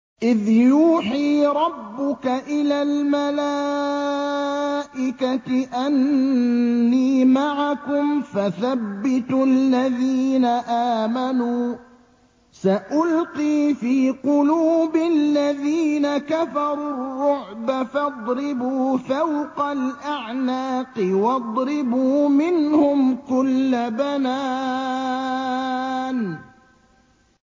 إِذْ يُوحِي رَبُّكَ إِلَى الْمَلَائِكَةِ أَنِّي مَعَكُمْ فَثَبِّتُوا الَّذِينَ آمَنُوا ۚ سَأُلْقِي فِي قُلُوبِ الَّذِينَ كَفَرُوا الرُّعْبَ فَاضْرِبُوا فَوْقَ الْأَعْنَاقِ وَاضْرِبُوا مِنْهُمْ كُلَّ بَنَانٍ